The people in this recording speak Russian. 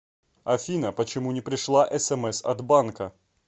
афина почему не пришла смс от банка